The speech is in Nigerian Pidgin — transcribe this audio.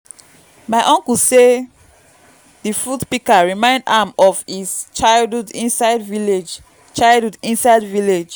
my uncle sey di fruit pika remind am of his childhood inside village childhood inside village